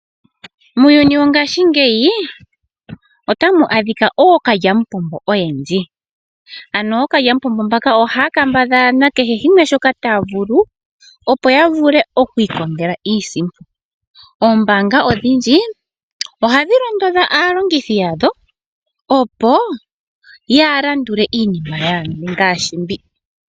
Muuyuni wo ngaashingeyi otamu adhika ookalya mupombo oyendji ano ookalya mupombo mbaka ohaya kambadhala na kehe shimwe shoka taya vulu opo ya vule okwii kongela iisimpo. Oombaanga odhindji ohadhi londodha aalongithi yadho, opo yaa landule iinima yimwe ngaashi mbi.